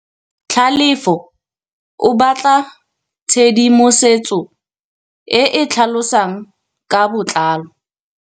Tlhalefô o batla tshedimosetsô e e tlhalosang ka botlalô.